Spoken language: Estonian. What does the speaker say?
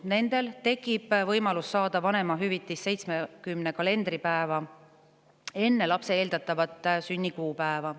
Nendel tekib võimalus saada vanemahüvitist 70 kalendripäeva enne lapse eeldatavat sünnikuupäeva.